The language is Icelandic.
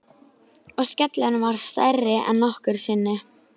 Og skellurinn varð stærri en nokkru sinni.